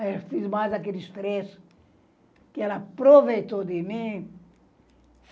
Aí eu fiz mais aqueles trechos que ela aproveitou de mim.